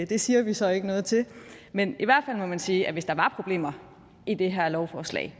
det siger vi så ikke noget til men i hvert fald må man sige at hvis der var problemer i det her lovforslag